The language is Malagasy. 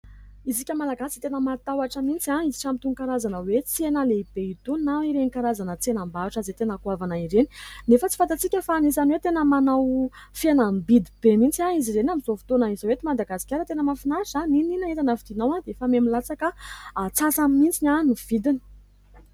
Isika malagasy dia tena matahotra mihintsy hiditra amin'itony karazana tsena lehibe itony na ireny karazana tsenam-bahotra izay tena goavana ireny. Nefa tsy fantatsika fa anisany hoe tena manao fihenam-bidy be mihintsy izy ireny amin'izao fotoana izao eto madagasikara. Tena mahafinaritra, na inona na inona entana vidianao dia efa miha-milatsaka amin'ny atsasany mihintsy vidiny.